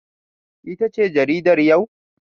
Ita ce jaridar yau?